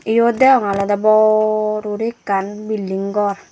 eyot degonge olode bor guri ekan building gor.